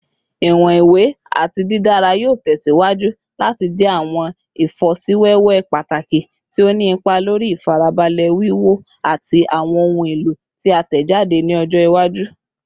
Iwọn iwe ati didara yoo tẹsiwaju lati jẹ awọn ifosiwewe pataki ti o ni ipa lori ifarabalẹ wiwo ti awọn ohun elo ti a tẹjade ni ọjọ iwaju